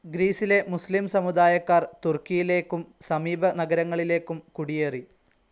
ഗ്രീസിലെ മുസ്ലീം സമുദായക്കാർ തുർക്കിയിലേക്കും സമീപ നഗരങ്ങളിലേക്കും കുടിയേറി